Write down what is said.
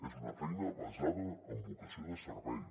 és una feina basada en vocació de servei